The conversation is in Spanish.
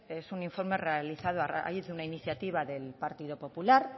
es un informe realizado a raíz de una iniciativa del partido popular